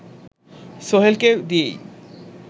সোহেলকে দিয়েই